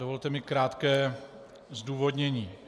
Dovolte mi krátké zdůvodnění.